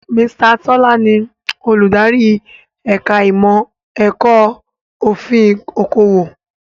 Mr. Tọ́lá ni Olùdarí ẹ̀ka ìmọ̀ ẹ̀kọ́ òfin okòwò